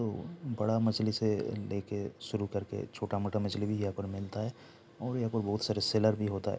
तो बड़ा मछली से ले के शुरू कर के छोटा मोटा मछली भी यहाँ पर मिलता है और यहाँ पर बहुत सारे सेलर भी होता है।